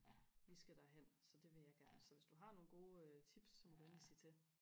vi skal derhen så det vil jeg gerne så hvis du har nogle gode tips så må du endelig sige til